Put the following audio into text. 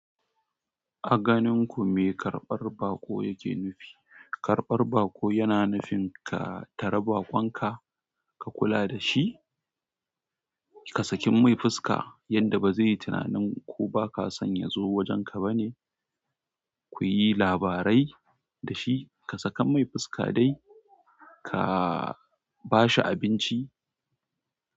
A ganin ku me karɓar baƙo yake nufi? Karɓar baƙo yana nufin ka tara baƙon ka, ka kula da shi, ka sakin mai fuska yanda ba zai yi tunanin ko ba ka san yazo wajen ka ba ne. Ku yi labarai da shi, ka saka mai fuska dai ka ba shi abinci.